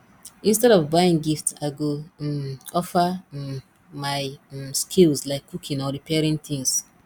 instead of buying gift i go um offer um my um skills like cooking or repairing things